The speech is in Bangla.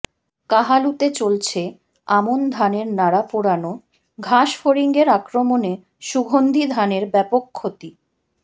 কাহালুতে চলছে আমন ধানের নাড়া পোড়ানো ঘাসফড়িংয়ের আক্রমণে সুগন্ধি ধানের ব্যাপক ক্ষতি